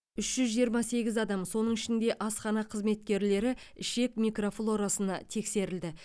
үш жүз жиырма сегіз адам соның ішінде асхана қызметкерлері ішек микрофлорасына тексерілді